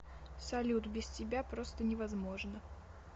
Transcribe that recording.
салют без тебя просто невозможно